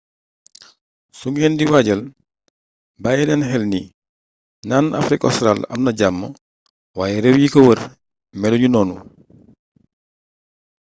su ngeen di waajal bàyyi leen xel ni naan afrique ostraal amna jàmm waaye réew yi ko wër melu ñu noonu